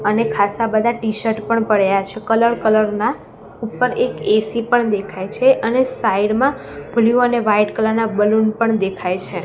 અને ખાસા બધા ટીશર્ટ પડ્યા છે કલર કલર ના ઉપર એક એ_સી પણ દેખાય છે અને સાઈડ માં બ્લુ અને વ્હાઈટ કલર ના બલુન પણ દેખાય છે.